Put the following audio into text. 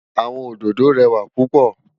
Awòn ódõdó rèwá púpò